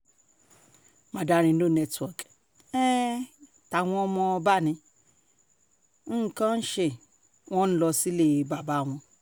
mandarin no network ein táwọn ọmọ bá ní um nǹkan án ṣe wọ́n ń lọ sílé bàbá wọn um